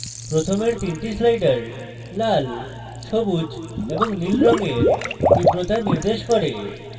প্রথমের the sliders লাল সবুজ এবং নীল রঙের তীব্রতা নির্দেশ করে